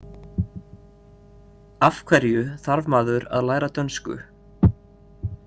Af hverju þarf maður að læra dönsku.